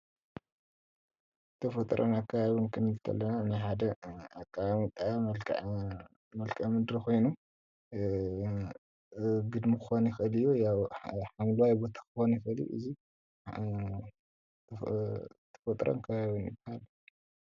ተፈጥሮን ኣከባቢን ክንብል ከለና ናይ ሓደ ኣቀማምጣ መልከዐ ምድሪ ኮይኑ ግድሚ ክኮን ይክእል እዩ ያው ሓምለዋይ ቦታ ክኮን ይእል እዩ እዚ ተፈጥሮን ከባብን ይባሃል፡፡